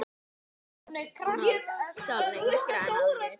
Arnold sá lengra en aðrir.